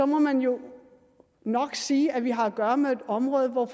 må man jo nok sige at vi har at gøre med et område hvor